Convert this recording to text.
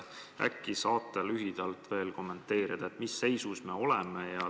Äkki saate lühidalt kommenteerida, mis seisus me oleme?